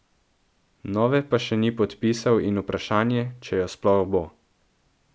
Nove pa še ni podpisal in vprašanje, če jo sploh bo.